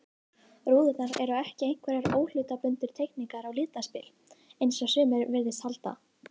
Rúðurnar eru ekki einhverjar óhlutbundnar teikningar og litaspil, eins og sumir virðast halda.